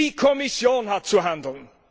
Die Kommission hat zu handeln.